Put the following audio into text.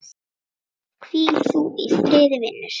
Hvíl þú í friði, vinur.